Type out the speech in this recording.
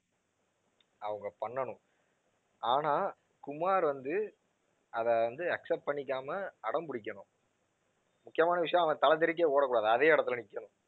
அவங்க பண்ணனும், ஆனா குமார் வந்து அதை வந்து accept பண்ணிக்காம அடம் பிடிக்கணும் முக்கியமான விஷயம் அவன் தலை தெறிக்க ஓடக் கூடாது. அதே இடத்துல நிக்கணும்.